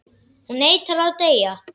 Hún neitar að deyja.